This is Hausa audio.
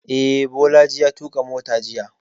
Eh, Bolaji ya tuƙa mota jiya